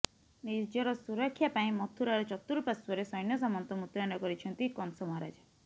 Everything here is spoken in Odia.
ନିଜର ସୁରକ୍ଷା ପାଇଁ ମଥୁରାର ଚତୁଃପାର୍ଶ୍ୱରେ ସୈନ୍ୟସାମନ୍ତ ମୁତୟନ କରିଛନ୍ତି କଂସ ମହାରାଜା